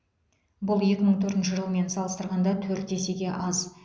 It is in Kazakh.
бұл екі мың төртінші жылмен салыстырғанда төрт есеге аз